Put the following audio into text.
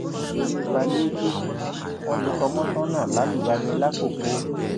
nítorí pálíétììfù wọn lu kọmọnsànnà lálùbami làkkòkò